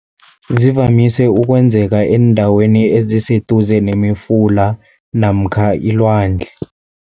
Zivamise ukwenzeka eendaweni eziseduze nemifula namkha ilwandle.